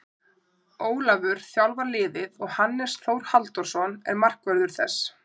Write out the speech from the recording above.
Ólafur þjálfar liðið og Hannes Þór Halldórsson er markvörður þess.